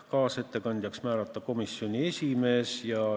Kaasettekandjaks määrati komisjoni esimees.